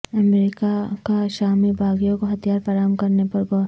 امریکہ کا شامی باغیوں کو ہتھیار فراہم کرنے پہ غور